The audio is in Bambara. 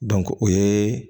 o ye